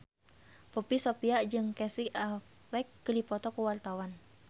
Poppy Sovia jeung Casey Affleck keur dipoto ku wartawan